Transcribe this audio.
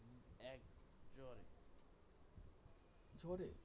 জোরে?